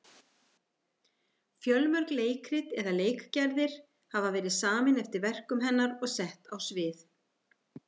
Fjölmörg leikrit eða leikgerðir hafa verið samin eftir verkum hennar og sett á svið.